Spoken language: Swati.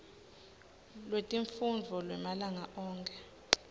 lwetifundvo lwemalanga onkhe